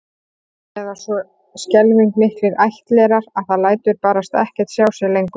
Eða svo skelfing miklir ættlerar að það lætur barasta ekkert sjá sig lengur